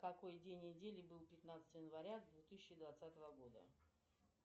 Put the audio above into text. какой день недели был пятнадцатое января две тысячи двадцатого года